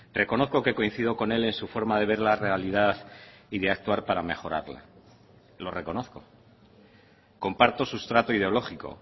reconozco que coincido con él en su forma de ver la realidad y de actuar para mejorarla lo reconozco comparto sustrato ideológico